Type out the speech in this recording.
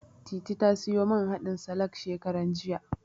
Titi ta siyo man haɗin salak ɗin, shekaran jiya.